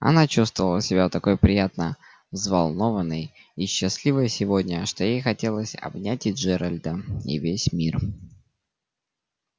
она чувствовала себя такой приятно взволнованной и счастливой сегодня что ей хотелось обнять и джералда и весь мир